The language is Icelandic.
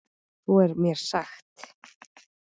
Svo er mér sagt.